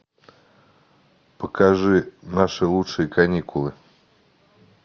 покажи наши лучшие каникулы